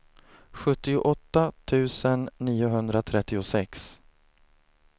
sjuttioåtta tusen niohundratrettiosex